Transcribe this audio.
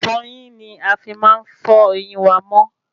Ìfọyín ní a fí máa ń fọ ẹyìn wa mọ́